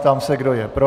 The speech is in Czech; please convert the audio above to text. Ptám se, kdo je pro.